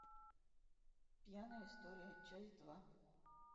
пьяная история часть два